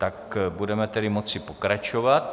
Tak budeme tedy moci pokračovat.